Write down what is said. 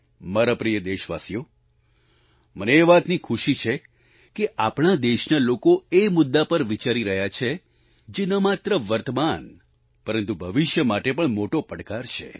મારા પ્રિય દેશવાસીઓ મને એ વાતની ખુશી છે કે આપણા દેશના લોકો એ મુદ્દા પર વિચારી રહ્યા છે જે ન માત્ર વર્તમાન પરંતુ ભવિષ્ય માટે પણ મોટો પડકાર છે